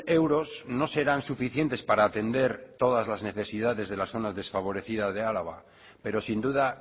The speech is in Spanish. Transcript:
euros no serán suficientes para atender todas las necesidades de las zonas desfavorecidas de álava pero sin duda